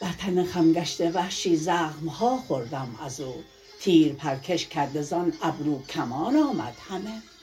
بر تن خم گشته وحشی زخمها خوردم از او تیر پرکش کرده زان ابرو کمان آمد همه